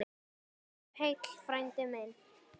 Farðu heill, frændi minn.